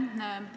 Aitäh!